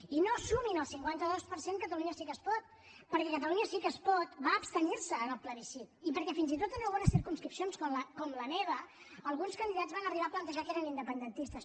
i no sumin en el cinquanta dos per cent catalunya sí que es pot perquè catalunya sí que es pot va abstenir se en el plebiscit i perquè fins i tot en algunes circumscripcions com la meva alguns candidats van arribar a plantejar que eren independentistes